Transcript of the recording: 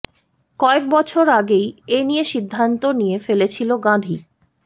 কয়েক বছর আগেই এ নিয়ে সিদ্ধান্ত নিয়ে ফেলেছিল গাঁধী